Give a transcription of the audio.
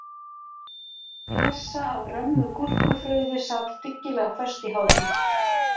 Klessa af römmu gúrkufrauði sat dyggilega föst í hárinu